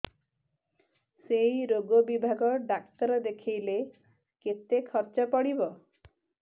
ସେଇ ରୋଗ ବିଭାଗ ଡ଼ାକ୍ତର ଦେଖେଇଲେ କେତେ ଖର୍ଚ୍ଚ ପଡିବ